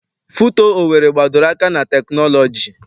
FUTO Owerri gbadoro aka na teknọlọji.